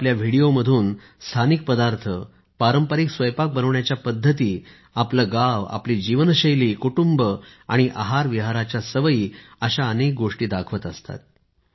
ते आपल्या व्हिडिओ मधून स्थानिक पदार्थ पारंपरिक स्वयंपाक बनवण्याच्या पद्धती आपले गाव आपली जीवनशैली कुटुंब आणि आहारविहाराच्या सवयी अशा गोष्टी दाखवत असतात